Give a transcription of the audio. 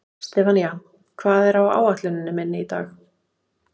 Sefanía, hvað er á áætluninni minni í dag?